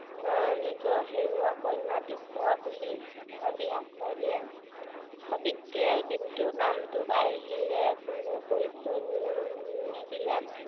আহ নিজৰ হেৰুৱা কন্যাটিক পোৱা বুলি ভাবি আশ্ৰয় দিয়ে সাৱিত্ৰীয়ে কিন্তু নামটোৰ বাহিৰে কোনো পৰিচয় নিদিলে